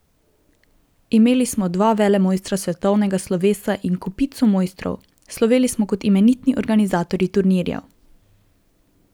Imeli smo dva velemojstra svetovnega slovesa in kopico mojstrov, sloveli smo kot imenitni organizatorji turnirjev.